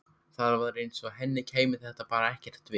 Það var eins og henni kæmi þetta bara ekkert við.